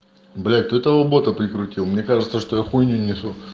блять ты этого бота прикрутил мне кажется что я хуйню несу